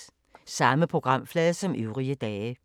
Samme programflade som øvrige dage